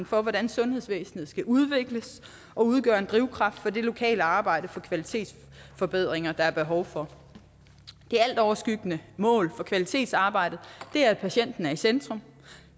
for hvordan sundhedsvæsenet skal udvikles og udgør en drivkraft for det lokale arbejde for kvalitetsforbedringer som der er behov for det altoverskyggende mål for kvalitetsarbejdet er at patienten er i centrum